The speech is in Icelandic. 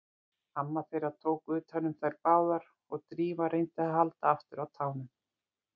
Amma þeirra tók utan um þær báðar og Drífa reyndi að halda aftur af tárunum.